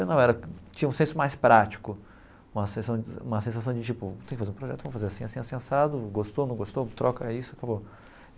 Eu não era, tinha um senso mais prático, uma sensa uma sensação de tipo, tem que fazer um projeto, vamos fazer assim, assim, assado, gostou, não gostou, troca isso, acabou.